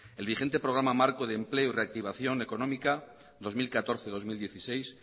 el vigente programa marco de empleo y reactivación económica dos mil catorce dos mil dieciséis